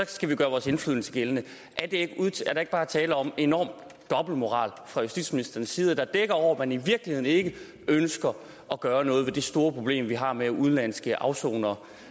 skal vi gøre vores indflydelse gældende er der ikke bare tale om en enorm dobbeltmoral fra justitsministerens side der dækker over at man i virkeligheden ikke ønsker at gøre noget ved det store problem vi har med udenlandske afsonere